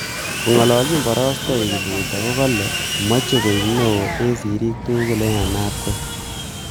Kongalalchin borostoik kipruto kokale mechei koek neo eng sirik tugul eng ainabkoi